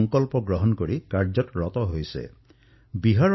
এতিয়া জনতাই এই থলুৱা সামগ্ৰীসমূহ ক্ৰয় কৰি আছে আৰু ভকেল ফৰ লকেলৰ প্ৰচাৰো কৰিছে